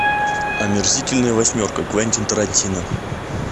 омерзительная восьмерка квентин тарантино